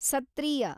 ಸತ್ತ್ರೀಯ